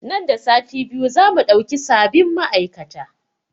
Nan da sati biyu za mu ɗauki sabin ma'aikata